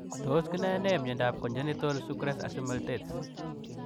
Tos kinae nee miondoop conjenitol sukres isomaltes ?